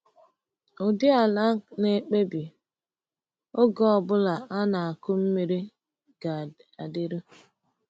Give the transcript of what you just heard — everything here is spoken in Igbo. Ụdị ala na-ekpebi oge ọ bụla a na-akụ mmiri ga-adịru.